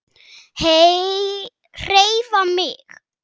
HREYFA MIG!